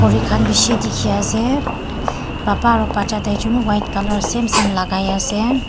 moi khan bishi dekhi ase baba aru bacha tai jon white colour same same lagai na ase.